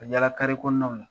Me yaala kɔnɔnaw la.